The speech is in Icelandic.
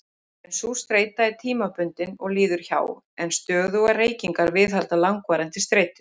En sú streita er tímabundin og líður hjá, en stöðugar reykingar viðhalda langvarandi streitu.